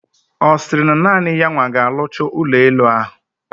Osiri na naani ya nwa ka alucha ulo elu ahu?